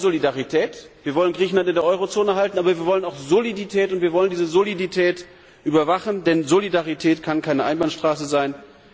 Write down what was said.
Wir wollen Solidarität, wir wollen Griechenland in der Eurozone halten, aber wir wollen auch Solidität und wir wollen diese Solidität überwachen, denn Solidarität kann keine Einbahnstraße sein.